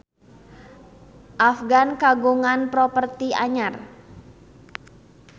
Afgan kagungan properti anyar